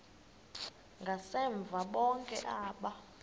ngasemva bonke aba